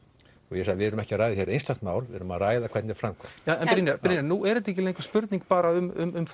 ég sagði við erum ekki að ræða hér einstakt mál við erum að ræða hvernig framkvæmd en Brynjar Brynjar nú er þetta ekki lengur spurning bara um